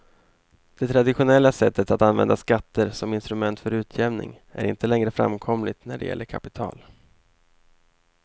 Det traditionella sättet att använda skatter som instrument för utjämning är inte längre framkomligt när det gäller kapital.